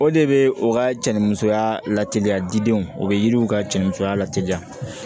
O de bɛ u ka cɛnimusoya lateliya didenw o bɛ yiriw ka cɛnniya lateliya